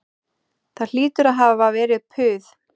Það hlýtur að hafa verið puð